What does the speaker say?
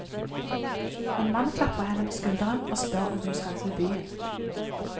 En mann klapper henne på skulderen og spør om hun skal til byen.